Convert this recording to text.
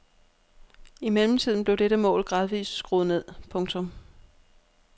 I mellemtiden blev dette mål gradvist skruet ned. punktum